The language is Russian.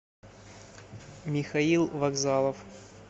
михаил вокзалов